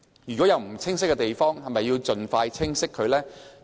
如果有不清晰的地方，是否應盡快釐清？